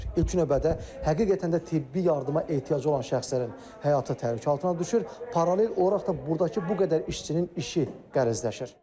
İlk növbədə həqiqətən də tibbi yardıma ehtiyacı olan şəxslərin həyatı təhlükə altına düşür, paralel olaraq da burdakı bu qədər işçinin işi qəlizləşir.